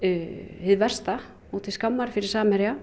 hið versta og til skammar fyrir Samherja